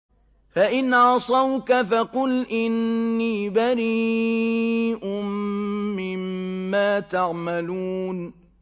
فَإِنْ عَصَوْكَ فَقُلْ إِنِّي بَرِيءٌ مِّمَّا تَعْمَلُونَ